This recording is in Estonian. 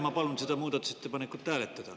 Ma palun seda muudatusettepanekut hääletada.